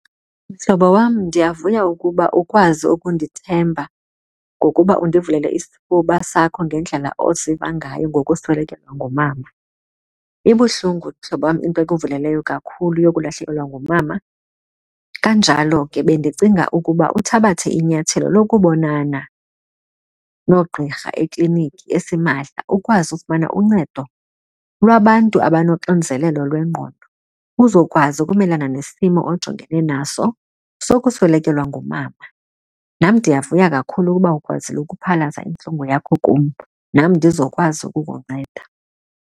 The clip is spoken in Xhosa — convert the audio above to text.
Mhlobo, wam, ndiyavuya ukuba ukwazi undithemba ngokuba undivulele isifuba sakho ngendlela oziva ngayo ngokuswelekelwa ngumama. Ibuhlungu, mhlobo wam, into okuveleleyo kakhulu yokulahlekelwa ngumama kanjalo ke bendicinga ukuba uthabathe inyathelo lokubonana noogqirha ekliniki esimahla ukwazi ukufumana uncedo lwabantu abanoxinzelelo lwengqondo. Uzokwazi ukumelana nesimo ojongene naso sokuswelekelwa ngumama. Nam ndiyavuya kakhulu ukuba ukwazile ukuphalaza intlungu yakho kum, nam ndizokwazi ukukunceda.